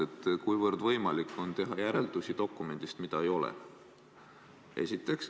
Esiteks, kuivõrd võimalik on teha järeldusi dokumendist, mida ei ole?